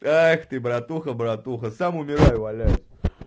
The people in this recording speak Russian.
ах ты братуха братуха сам умираю валяюсь